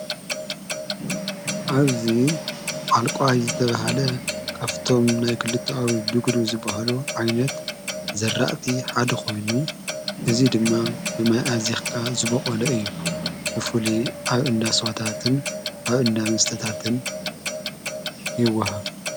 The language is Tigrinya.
ኣብዙ ኣልቋኣይ ዘተብሃደ ቃፍቶም ናይ ክልቱ ኣብ ድግሩ ዝብሃሎ ዓይነት ዘራእቲ ሓደ ኾይኑ እዙይ ድማ ብማይኣዚኽካ ዝበቖለ እዩ ብፉሊ ኣብ እንዳ ሥዋታትን ኣብ እንዳ ምስተታትን ይወሃብ።